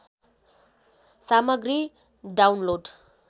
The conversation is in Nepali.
सामग्री डाउनलोड